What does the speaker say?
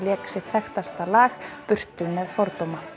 lék sitt þekktasta lag burtu með fordóma